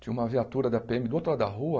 Tinha uma viatura da Pê êMe do outro lado da rua,